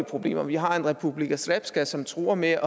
problemer vi har en republika srpska som truer med